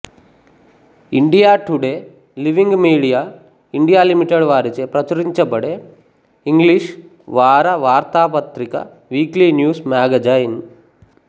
India Today Living Media India Limited వారిచే ప్రచురించబడే English వార వార్తా పత్రిక వీక్లీ న్యూస్ మ్యాగజైన్